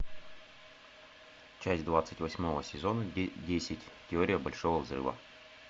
часть двадцать восьмого сезона десять теория большого взрыва